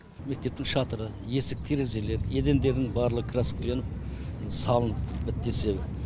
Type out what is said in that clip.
мектептің шатыры есік терезелері едендерінің барлығы краскіленіп салынып бітті десе